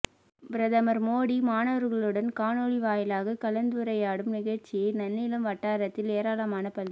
பிரதமா் மோடி மாணவா்களுடன் காணொலி வாயிலாக கலந்துரையாடும் நிகழ்ச்சியை நன்னிலம் வட்டாரத்தில் ஏராளமான பள்ளி